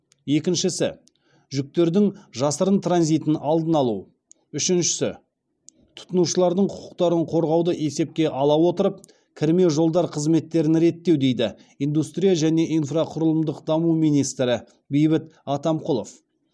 екіншісі жүктердің жасырын транзитін алдын алу үшіншісі тұтынушылардың құқықтарын қорғауды есепке ала отырып кірме жолдар қызметтерін реттеу деді индустрия және инфрақұрылымдық даму министрі бейбіт атамқұлов